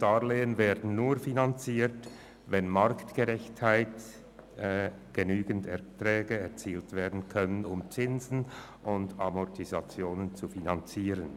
Darlehen werden nur finanziert, wenn marktgerechte und genügende Erträge erzielt werden können, um Zinsen und Amortisationen zu finanzieren.